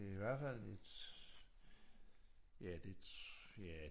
Det er i hvert fald et ja det ja